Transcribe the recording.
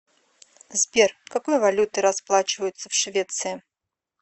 сбер какой валютой расплачиваются в швеции